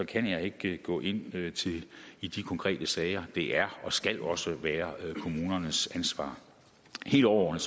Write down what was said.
kan jeg ikke gå ind i de konkrete sager det er og skal også være kommunernes ansvar helt overordnet